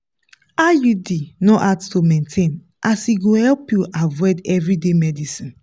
iud no hard to maintain as e go help you avoid everyday medicines.